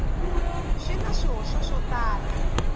swi na swihoxo swo tala